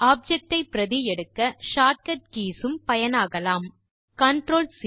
objects ஐ பிரதி எடுக்க ஷார்ட் கட் கீஸ் உம் பயனாகலாம் CTRLC